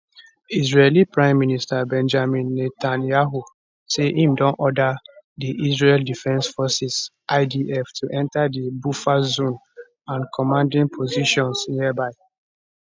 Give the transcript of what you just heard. israeli prime minister benjamin netanyahu say im don order di israel defense forces idf to enter di buffer zone and commanding positions nearby